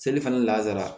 Seli fana lasara